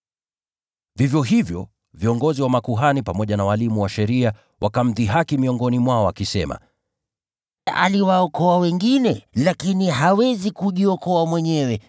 Vivyo hivyo, viongozi wa makuhani pamoja na walimu wa sheria wakamdhihaki miongoni mwao wakisema, “Aliwaokoa wengine, lakini hawezi kujiokoa mwenyewe!